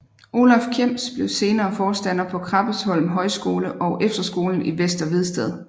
Olaf Kjems blev senere forstander på Krabbesholm Højskole og efterskolen i Vester Vedsted